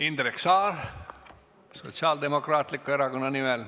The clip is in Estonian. Indrek Saar Sotsiaaldemokraatliku Erakonna nimel.